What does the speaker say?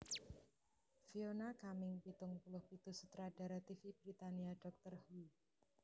Fiona Cumming pitung puluh pitu sutradara tv Britania Doctor Who